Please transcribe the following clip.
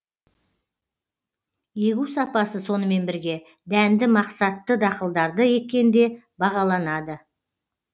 егу сапасы сонымен бірге дәнді мақсатты дақылдарды еккенде бағаланады